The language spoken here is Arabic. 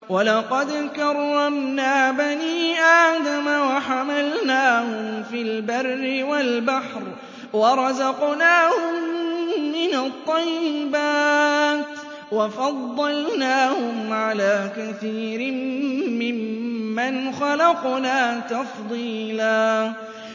۞ وَلَقَدْ كَرَّمْنَا بَنِي آدَمَ وَحَمَلْنَاهُمْ فِي الْبَرِّ وَالْبَحْرِ وَرَزَقْنَاهُم مِّنَ الطَّيِّبَاتِ وَفَضَّلْنَاهُمْ عَلَىٰ كَثِيرٍ مِّمَّنْ خَلَقْنَا تَفْضِيلًا